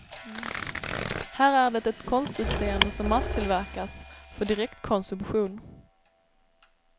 Här är det ett konstutseende som masstillverkas för direktkonsumtion.